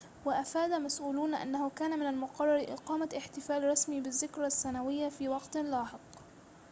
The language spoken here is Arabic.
وأفاد مسؤولون أنه كان من المقرر إقامة احتفال رسمي بالذكرى السنوية في وقتٍ لاحق